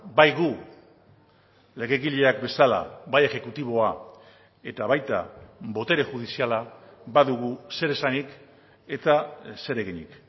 bai gu legegileak bezala bai exekutiboa eta baita botere judiziala badugu zer esanik eta zer eginik